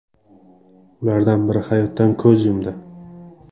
Ulardan biri hayotdan ko‘z yumdi.